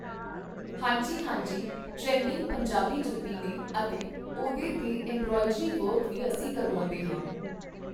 ਹਾਂਜੀ ਹਾਂਜੀ ਟਰੈਂਡਿੰਗ ਪੰਜਾਬੀ ਜੁੱਤੀ ਨੇ ਅਤੇ ਉਹਦੇ 'ਤੇ ਐੱਮਬ੍ਰੋਆਈਡਰੀ ਵਰਕ ਵੀ ਅਸੀਂ ਕਰਵਾਉਂਦੇ ਹਾਂ